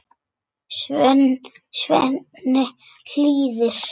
Svenni hlýðir.